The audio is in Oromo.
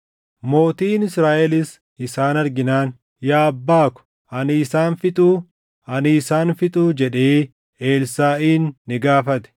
Mootiin Israaʼelis isaan arginaan, “Yaa abbaa ko, ani isaan fixuu? Ani isaan fixuu?” jedhee Elsaaʼin ni gaafate.